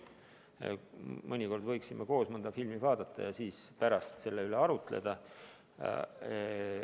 Mõnikord võiksime koos mõnda filmi vaadata ja pärast selle üle arutleda.